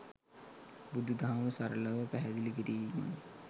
බුදු දහම සරලව පැහැදිලිකිරීමයි.